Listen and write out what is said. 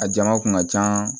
A jama kun ka can